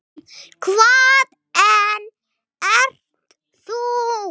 Hvaðan ert þú?